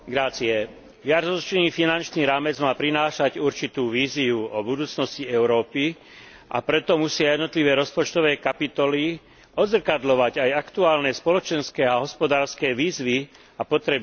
Viacročný finančný rámec má prinášať určitú víziu o budúcnosti Európy, a preto musia jednotlivé rozpočtové kapitoly odzrkadľovať aj aktuálne spoločenské a hospodárske výzvy a potreby občanov.